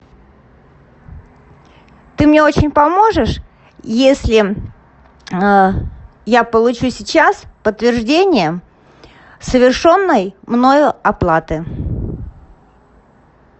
ты мне очень поможешь если я получу сейчас подтверждение совершенной мною оплаты